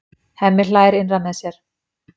Hemmi hlær innra með sér.